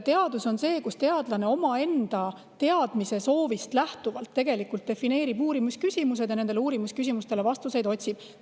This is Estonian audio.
Teadus on see, kui teadlane omaenda teadmise soovist lähtuvalt defineerib uurimisküsimused ja nendele vastuseid otsib.